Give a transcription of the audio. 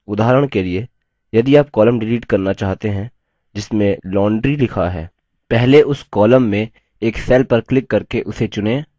उदाहरण के लिए यदि आप column डिलीट करना चाहते हैं जिसमें laundry लिखा है पहले उस column में एक cell पर क्लिक करके उसे चुनें